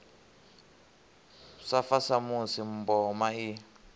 sa fa samusi mboma i